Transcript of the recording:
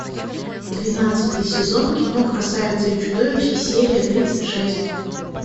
двенадцатый сезон кино красавица и чудовище серия тридцать шесть